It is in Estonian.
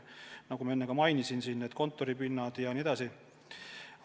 Nagu ma enne mainisin, kõik need kontoripinnad jne.